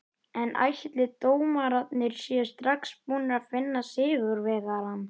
En ætli dómararnir séu strax búnir að finna sigurvegarann?